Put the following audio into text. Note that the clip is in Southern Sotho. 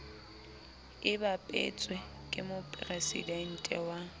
e bapetsweng ke moporesidente wa